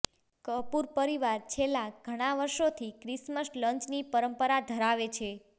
કપૂર પરિવાર છેલ્લા ઘણા વર્ષોથી ક્રીસ્મસ લંચની પરંપરા ધરાવે છે